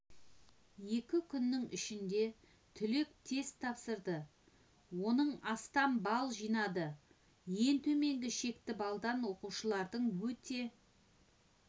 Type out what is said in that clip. екі күннің ішінде түлек тест тапсырды оның астам балл жинады ең төменгі шекті балдан оқушылардың өте